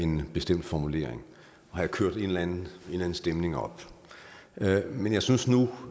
en bestemt formulering og kørt en eller anden stemning op men jeg synes nu